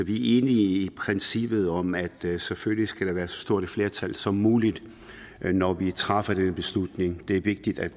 i princippet om at selvfølgelig skal der være et så stort flertal som muligt når vi træffer den beslutning det er vigtigt at